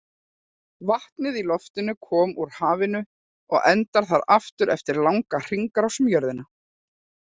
Vatnið í loftinu kom úr hafinu og endar þar aftur eftir langa hringrás um jörðina.